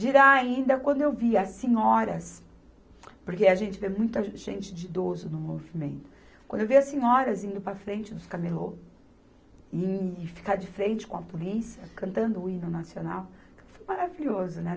Dirá ainda, quando eu vi as senhoras, porque a gente vê muita gente de idoso no movimento, quando eu vi as senhoras indo para frente dos camelô e ficar de frente com a polícia, cantando o hino nacional, foi maravilhoso, né?